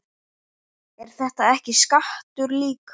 Er þetta ekki skattur líka?